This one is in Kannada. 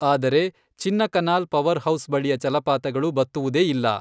ಆದರೆ, ಚಿನ್ನಕನಾಲ್ ಪವರ್ ಹೌಸ್ ಬಳಿಯ ಜಲಪಾತಗಳು ಬತ್ತುವುದೇ ಇಲ್ಲ.